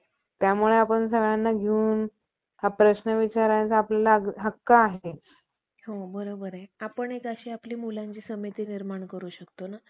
घेता यावा. यास्तव या वास्तव त्यांचे एकंदर सर्व भटांसारख्या कृत्रिम, दुष्ट आणि मतलबी फासेपारध्यांच्या